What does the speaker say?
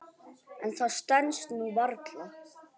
En það stenst nú varla.